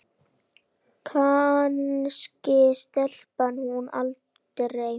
Kannski sleppur hún aldrei.